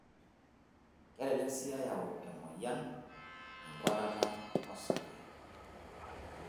Kelelek sii eyau emoyian enkuatata osarge.